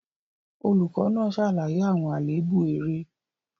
Olùkọ́ náà ṣàlàyé àwọn àléébù eré.